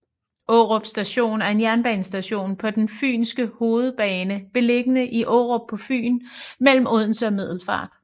Aarup Station er en jernbanestation på den fynske hovedbane beliggende i Aarup på Fyn mellem Odense og Middelfart